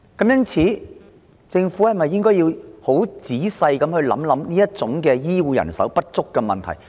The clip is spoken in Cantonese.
因此，政府是否應仔細考慮有何方法填補醫護人手的不足？